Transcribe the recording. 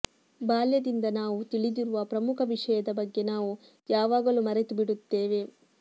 ಬಾಲ್ಯದಿಂದ ನಾವು ತಿಳಿದಿರುವ ಪ್ರಮುಖ ವಿಷಯದ ಬಗ್ಗೆ ನಾವು ಯಾವಾಗಲೂ ಮರೆತುಬಿಡುತ್ತೇವೆ